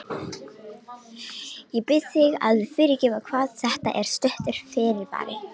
Ég bið þig að fyrirgefa hvað þetta er stuttur fyrirvari.